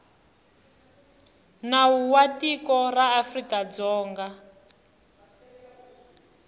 nawu wa tiko ra afrikadzonga